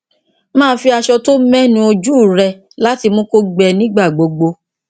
máa fi aṣọ tó mẹ nu ojú rẹ láti mú kó gbẹ nígbà gbogbo